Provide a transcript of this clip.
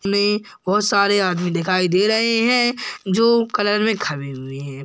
में बहोत सारे आदमी दिखाई दे रहें हैजो कलर में खड़े हुए हैं।